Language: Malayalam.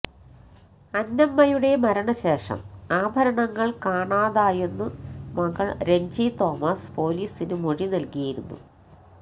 അന്നമ്മയുടെ മരണശേഷം ആഭരണങ്ങള് കാണാതായെന്നു മകള് രഞ്ജി തോമസ് പൊലീസിനു മൊഴി നല്കിയിരുന്നു